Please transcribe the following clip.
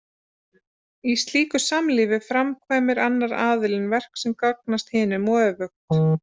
Í slíku samlífi framkvæmir annar aðilinn verk sem gagnast hinum og öfugt.